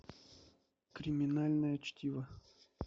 криминальное чтиво